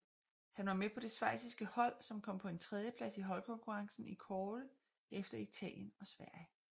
Han var med på det schweiziske hold som kom på en tredjeplads i holdkonkurrencen i kårde efter Italien og Sverige